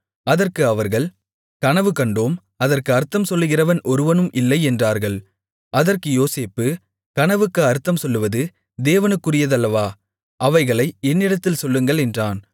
அதற்கு அவர்கள் கனவு கண்டோம் அதற்கு அர்த்தம் சொல்லுகிறவன் ஒருவனும் இல்லை என்றார்கள் அதற்கு யோசேப்பு கனவுக்கு அர்த்தம் சொல்லுவது தேவனுக்குரியதல்லவா அவைகளை என்னிடத்தில் சொல்லுங்கள் என்றான்